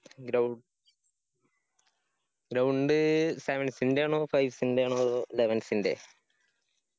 ground ground sevens ന്റെയാണോ fives ന്റെയാണോ അതോ elevens ന്റെയെ